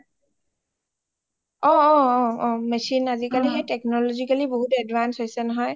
machine আজিকালি সেই technology বহুত advance হৈ গৈছে নহয়